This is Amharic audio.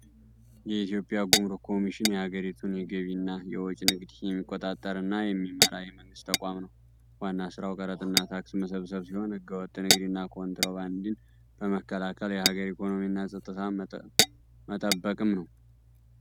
የኢትዮጵያ ጉምሩክ ኮሚሽን የሀገሪቱን የገቢና የወጪ ንግድ የሚቆጣጠር እና የሚመራ የመንግሥት ተቋም ነው። ዋና ሥራው ቀረጥና ታክስ መሰብሰብ ሲሆን፣ ሕገ-ወጥ ንግድና ኮንትሮባንድን በመከላከል የሀገርን ኢኮኖሚና ፀጥታ መጠበቅም ነው።